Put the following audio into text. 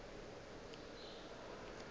ge a ka be a